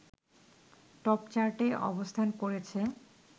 টপচার্টে অবস্থান করেছে